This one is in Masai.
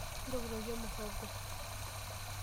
Ntokitokie muhogo.